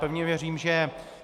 Pevně věřím, že...